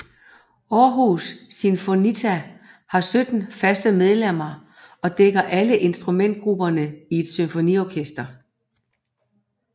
Århus Sinfonietta har 17 faste medlemmer og dækker alle instrumentgrupperne i et symfoniorkester